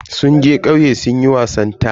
Sun je kauye sunyi wasan ƙasa taya.